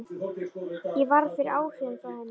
Ég varð fyrir áhrifum frá henni.